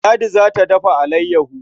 Ladi za ta dafa alayyaho.